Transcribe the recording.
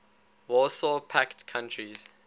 warsaw pact countries